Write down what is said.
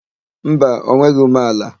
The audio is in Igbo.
Mba, o nweghị umeala.